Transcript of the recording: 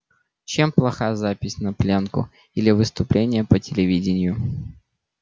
чем плоха запись на плёнку или выступление по телевидению